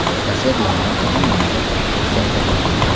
Otasi bemor qizim yoniga bir kelsa edi.